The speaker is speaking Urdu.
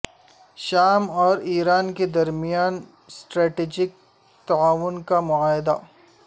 شام اور ایران کے درمیان اسٹراٹیجک تعاون کا معاہدہ